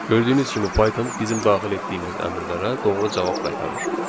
Gördüyünüz kimi Python bizim daxil etdiyimiz əmrlərə doğru cavab qaytarır.